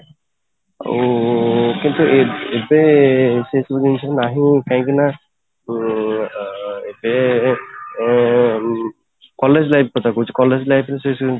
ଆଉ କିନ୍ତୁ ଏବେ ସେ ଜିନିଷ ନାହିଁ କାହିଁକି ନା ଅଂ ଉଁ ଏବେ ଅଂ college life କଥା କହୁଛି college life ରେ ସେ ସବୁ